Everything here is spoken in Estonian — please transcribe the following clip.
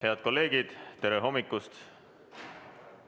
Head kolleegid, tere hommikust!